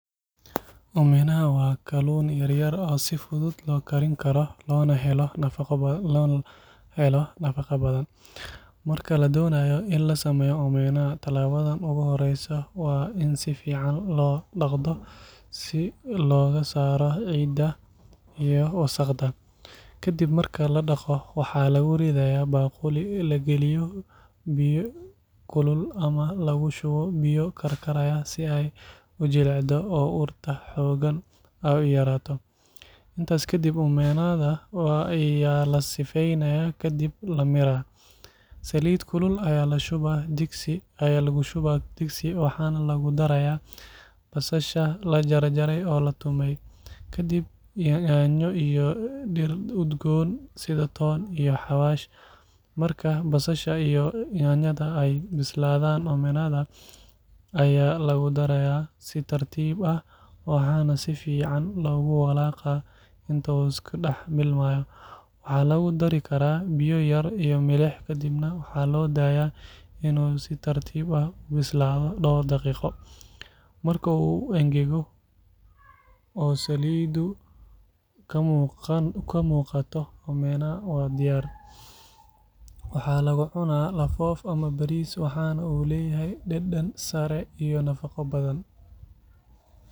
Waa kaluun yaryar oo si fudud loo karin Kara, tilabada u horeysa waa in sifican loo daqo, lagu rido baquli oo biya kukul loogu shubo, lasifeeya kadib lamiraa, waxaa lagu daraa basal, toon iyo xawasho, markaay bisladan waa lagu daraa, waa lawalaaqa, waxaa lagu daraa biya iyo milix, marka uu engago, waa diyaar, waxaa lagu cunaa bariis.